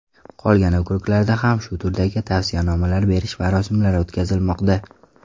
Qolgan okruglarda ham shu turdagi tavsiyanomalarni berish marosimlari o‘tkazilmoqda.